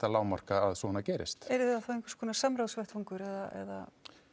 lágmarka að svona gerist yrði það þá einhvers konar samráðsvettvangur eða